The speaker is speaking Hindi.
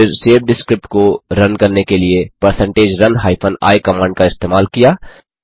फिर सेव्ड स्क्रिप्ट को रन करने के लिए percentage run hyphen i command का इस्तेमाल किया